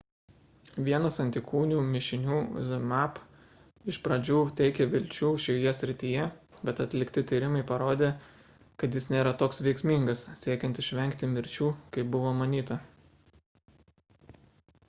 vienas antikūnių mišinių zmapp iš pradžių teikė vilčių šioje srityje bet atlikti tyrimai parodė kad jis nėra toks veiksmingas siekiant išvengti mirčių kaip buvo manyta